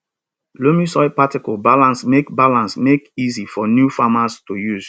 loamy soil particles balance make balance make easy for new farmers to use